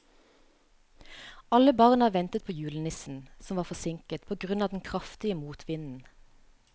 Alle barna ventet på julenissen, som var forsinket på grunn av den kraftige motvinden.